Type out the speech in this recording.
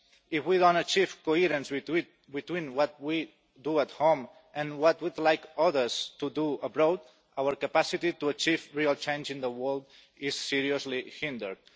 If we don't achieve coherence between what we do at home and what we would like others to do abroad, our capacity to achieve real change in the world is seriously hindered.